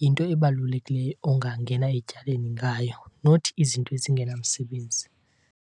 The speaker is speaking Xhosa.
Yinto ebalulekileyo ongangena etyaleni ngayo not izinto ezingenamsebenzi.